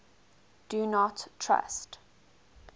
do not trust